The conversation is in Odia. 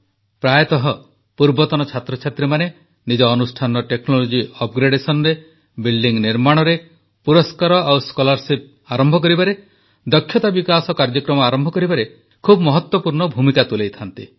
ପ୍ରାୟତଃ ପୂର୍ବତନ ଛାତ୍ରଛାତ୍ରୀମାନେ ନିଜ ଅନୁଷ୍ଠାନର ଟେକ୍ନୋଲୋଜି upgradationରେ ବିଲ୍ଡିଂ ନିର୍ମାଣରେ ପୁରସ୍କାର ଓ ସ୍କଲାର୍ସିପ୍ ଆରମ୍ଭ କରିବାରେ ଦକ୍ଷତା ବିକାଶ କାର୍ଯ୍ୟକ୍ରମ ଆରମ୍ଭ କରିବାରେ ଖୁବ୍ ମହତ୍ୱପୂର୍ଣ୍ଣ ଭୂମିକା ତୁଲାଇଥାନ୍ତି